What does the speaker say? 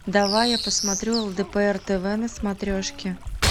давай я посмотрю лдпр тв на смотрешке